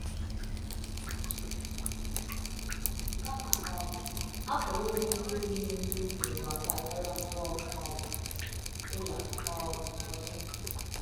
kama um, a pụrụ inwe ndị pụrụ inwe ndị ohu n’ụwa taa karịa mgbe ọ um bụla um ọzọ!